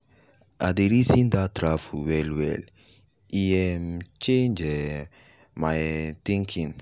i dey reason that travel well well e um change um my um thinking.